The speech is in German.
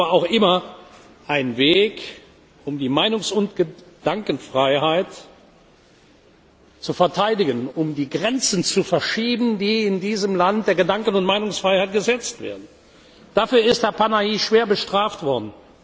Sie waren aber auch immer ein Weg, um die Meinungs und Gedankenfreiheit zu verteidigen, um die Grenzen zu verschieben, die in diesem Land der Gedanken und Meinungsfreiheit gesetzt werden. Dafür ist Herr Panahi schwer bestraft worden.